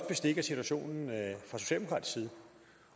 bestik af situationen